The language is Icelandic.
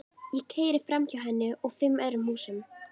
Ég keyri framhjá henni og fimm öðrum húsum.